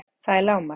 Það er lágmark!